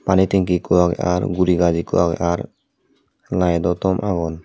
pani tanky ekko age ar guri gach ekko age ar lighdo tomb agon.